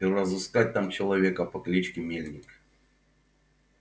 и разыскать там человека по кличке мельник